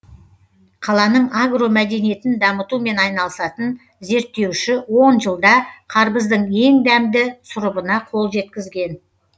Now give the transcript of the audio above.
қаланың агромәдениетін дамытумен айналысатын зерттеуші он жылда қарбыздың ең дәмді сұрыбына қол жеткізген